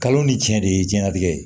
Kalo ni tiɲɛ de ye diɲɛlatigɛ ye